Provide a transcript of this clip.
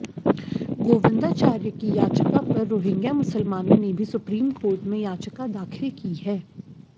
गोविंदाचार्य की याचिका पर रोहिंग्या मुसलमानों ने भी सुप्रीम कोर्ट में याचिका दाखिल की है